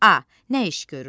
A. nə iş görür?